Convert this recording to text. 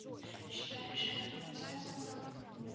считаешь это как-то связано